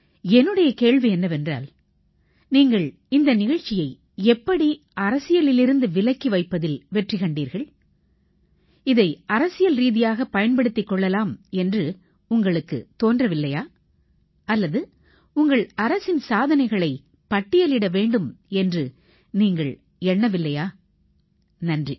என்னுடைய கேள்வி என்னவென்றால் நீங்கள் இந்த நிகழ்ச்சியை எப்படி அரசியலிலிருந்து விலக்கி வைப்பதில் வெற்றி கண்டீர்கள் இதை அரசியல் ரீதியாகப் பயன்படுத்திக் கொள்ளலாம் என்று உங்களுக்குத் தோன்றவில்லையா அல்லது உங்கள் அரசின் சாதனைகளைப் பட்டியலிட வேண்டும் என்று நீங்கள் எண்ணவில்லையா நன்றி